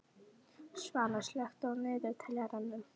Svana, slökktu á niðurteljaranum.